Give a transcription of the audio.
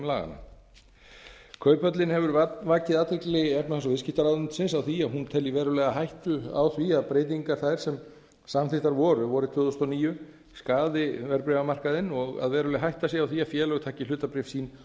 laganna kauphöllin hefur vakið athygli efnahags og viðskiptaráðuneytisins á því að hún telji verulega hættu á því að breytingar þær sem samþykktar voru vorið tvö þúsund og níu skaði verðbréfamarkaðinn og að veruleg hætta sé á því að félög taki hlutabréf sín